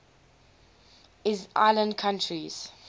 island countries